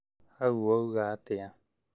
Hau wauga atĩa